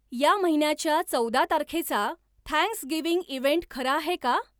या महिन्याच्या चौदा तारखेचा थँक्स गिव्हिंग इव्हेंट खरा आहे का